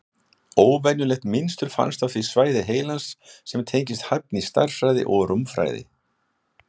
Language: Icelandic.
Óvenjulegt mynstur fannst á því svæði heilans sem tengist hæfni í stærðfræði og rúmfræði.